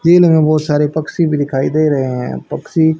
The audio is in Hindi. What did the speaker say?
दिन में बहुत सारे पक्षी भी दिखाई दे रहे हैं पक्षी--